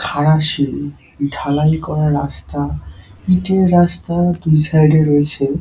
খারা সিঁড়ি ঢালাই করা রাস্তা। ইটের রাস্তা দু সাইড -এ রয়েছে--